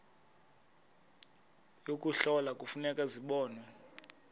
yokuhlola kufuneka zibonwe